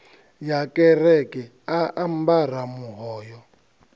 ya kereke a ambara muhoyo